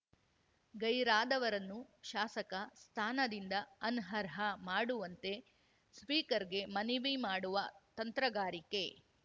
ಗೈರಾದವರನ್ನು ಶಾಸಕ ಸ್ಥಾನದಿಂದ ಅನರ್ಹ ಮಾಡುವಂತೆ ಸ್ಪೀಕರ್‌ಗೆ ಮನವಿ ಮಾಡುವ ತಂತ್ರಗಾರಿಕೆ